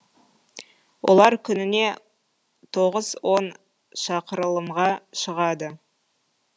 олар күніне тоғыз он шақырылымға шығады